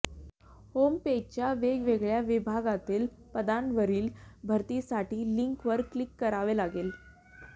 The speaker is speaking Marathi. होमपेजच्या वेगवेगळ्या विभागातील पदांवरील भरतीसाठी लिंकवर क्लिक करावे लागेल